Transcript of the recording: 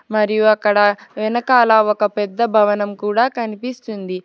మరియు అక్కడ వెనకాల ఒక పెద్ద భవనం కూడా కనిపిస్తుంది.